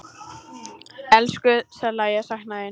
Elsku Salla, ég sakna þín.